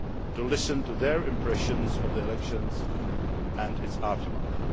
to listen to their impressions of the election and its aftermath.